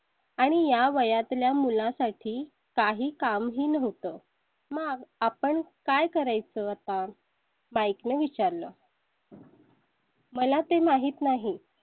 आणि या वया तल्या मुलांसाठी काही काम ही नव्हतं. मग आपण काय करायचं होता? mike ने विचारलं . मला ते माहित नाही